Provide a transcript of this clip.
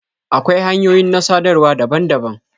Akwai hanyoyin na sadarwa daban-daban.